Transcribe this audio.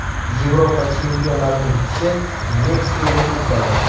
Yevropa chempionlarining tishi Meksikaga o‘tmadi.